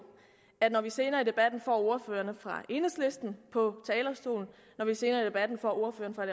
at når vi senere i debatten får ordføreren for enhedslisten på talerstolen når vi senere i debatten får ordføreren for